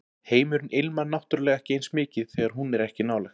Heimurinn ilmar náttúrlega ekki eins mikið þegar hún er ekki nálægt